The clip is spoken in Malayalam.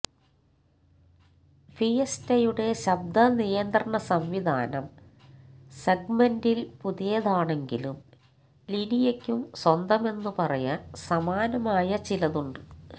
ഫിയസ്റ്റയുടെ ശബ്ദ നിയന്ത്രണ സംവിധാനം സെഗ്മെന്റില് പുതിയതാണെങ്കിലും ലിനിയയ്ക്കും സ്വന്തമെന്ന് പറയാന് സമാനമായ ചിലതുണ്ട്